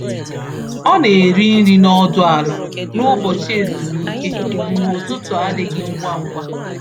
Ọ na-eri nri nọdụ ala n’ụbọchị ezumike mgbe ụtụtụ adịghị ngwa ngwa.